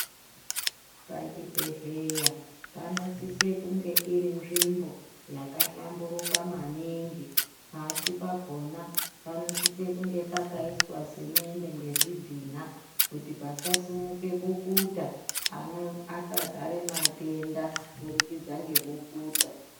Pachibhehlera panosise kunge iri nzvimbo yakahlamburuka maningi pashi pakona panosise kunge pakaiswe semende ngezvidhina kuti pasasimuke bukuta antu asazare matenda kubudikidza ngebukuta.